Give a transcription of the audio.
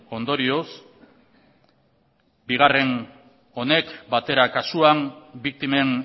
ondorioz bigarren honek batera kasuan biktimen